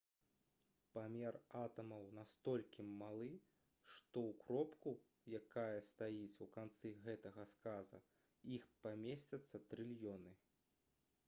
памер атамаў настолькі малы што ў кропку якая стаіць у канцы гэтага сказа іх памесцяцца трыльёны